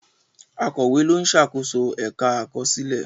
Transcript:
Akọ̀wé ló ń ṣàkóso ẹ̀ka àkọsílẹ̀.